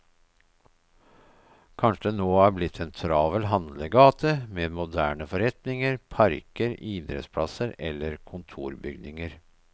Kanskje det nå er blitt en travel handlegate, med moderne forretninger, parker, idrettsplasser, eller kontorbygninger.